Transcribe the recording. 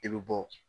I bɛ bɔ